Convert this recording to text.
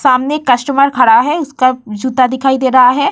सामने कस्टमर खड़ा है उसका जूता दिखाई दे रहा है ।